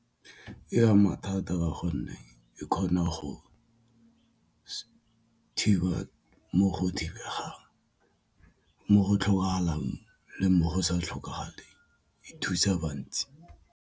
E ama thata ka gonne e kgona go thiba mo go thibegang mo go tlhokagalang le mo go sa tlhokagalang e thusa bantsi.